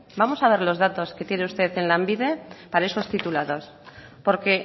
vamos a ver los datos que tiene usted en lanbide para esos titulados porque